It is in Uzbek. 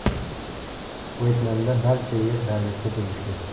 Vyetnamda barcha yer davlatga tegishli.